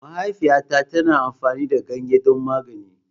Mahaifiyata tana amfani da ganye don magani.